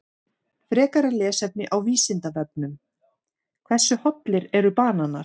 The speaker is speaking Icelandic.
Frekara lesefni á Vísindavefnum: Hversu hollir eru bananar?